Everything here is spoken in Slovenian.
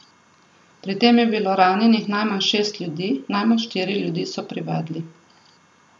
Pri tem je bilo ranjenih najmanj šest ljudi, najmanj štiri ljudi so privedli.